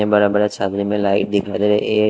ये बरा-बरा छामने में लाइट दिखाई दे रही है।